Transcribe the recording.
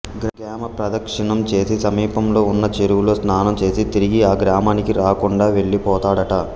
గ్రామ ప్రదక్షిణం చేసి సమీపంలో వున్న చెరువులో స్నానం చేసి తిరిగి ఆ గ్రామానికి రాకుండా వెళ్ళి పోతాడట